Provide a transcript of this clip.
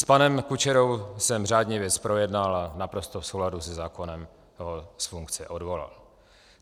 S panem Kučerou jsem řádně věc projednal a naprosto v souladu se zákonem ho z funkce odvolal.